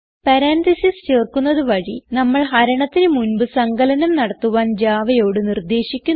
parenthesis ചേർക്കുന്നത് വഴി നമ്മൾ ഹരണത്തിന് മുൻപ് സങ്കലനം നടത്തുവാൻ javaയോട് നിർദേശിക്കുന്നു